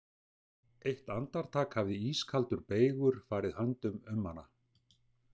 Eitt andartak hafði ískaldur beygur farið höndum um hana.